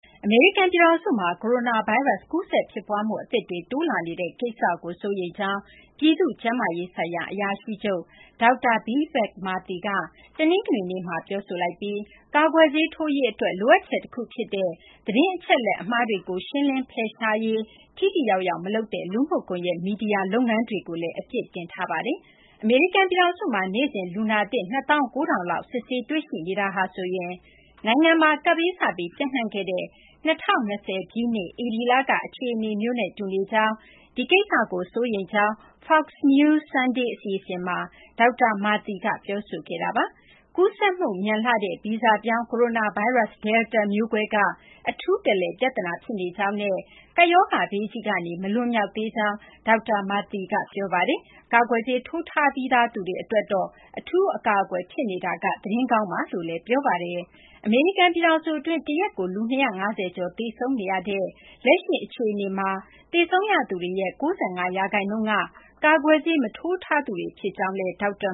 အမေရိကန်ပြည်ထောင်စုမှာ ကိုရိုနာဗိုင်းရပ်စ် ကူးစက်ဖြစ်ပွားမှု အသစ်တွေ တိုးလာနေတဲ့ ကိစ္စကို စိုးရိမ်ကြောင်း ပြည်သူ့ကျန်းမာရေးဆိုင်ရာ အရာရှိချုပ် ဒေါက်တာ Vivek Murthy က တနင်္ဂနွေနေ့မှာ ပြောဆိုလိုက်ပြီး ကာကွယ်ဆေးထိုးရေးအတွက် လိုအပ်ချက်တခုဖြစ်တဲ့ သတင်းအချက်အလက် အမှားတွေကို ဖယ်ရှားရှင်းလင်းရေး ထိထိရောက်ရောက် မလုပ်တဲ့ လူမှုကွန်ရက် မီဒီယာလုပ်ငန်းတွေကိုလည်း အပြစ်တင်ပါတယ်။ အမေရိကန်ပြည်ထောင်စုမှာ နေ့စဉ် လူနာသစ် ၂၉,၀၀၀ လောက် စစ်ဆေးတွေ့ရှိနေတာဟာဆိုရင် နိုင်ငံမှာ ကပ်ဘေး စပြီး ပျံ့နှံ့ခဲ့တဲ့ ၂၀၂၀ ပြည့်နှစ် ဧပြီလက အခြေအနေမျိုးနဲ့ တူနေကြောင်း၊ ဒီကိစ္စကို စိုးရိမ်ကြောင်း Fox News Sunday အစီအစဉ်မှာ ဒေါက်တာ Murthy က ပြောဆိုခဲ့ပါတယ်။ ကူးစက်မှုမြန်လှတဲ့ ဗီဇပြောင်း ကိုရိုနာဗိုင်းရပ်စ် Delta မျိုးကွဲက အထူးတလည် ပြဿနာ ဖြစ်နေကြောင်းနဲ့ ကပ်ဘေးရောဂါကြီးကနေ မလွန်မြောက်သေးကြောင်း ဒေါက်တာ Murthy က ပြောပါတယ်။ ကာကွယ်ဆေး ထိုးထားပြီးသူတွေ အတွက်တော့ အထူးအကာအကွယ် ဖြစ်နေတာက သတင်းကောင်းဖြစ်ကြောင်းလည်း ပြောပါတယ်။ အမေရိကန်ပြည်ထောင်စုအတွင်း တရက်ကို လူ ၂၅၀ ကျော် သေဆုံးနေရတဲ့ လက်ရှိ အခြေအနေမှာ သေဆုံးသူတွေရဲ့ ၉၅ ရာခိုင်နှုန်းက ကာကွယ်ဆေး မထိုးထားသူတွေ ဖြစ်ကြောင်းလည်း ဒေါက်တာ